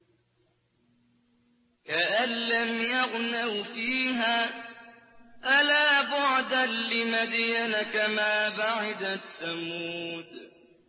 كَأَن لَّمْ يَغْنَوْا فِيهَا ۗ أَلَا بُعْدًا لِّمَدْيَنَ كَمَا بَعِدَتْ ثَمُودُ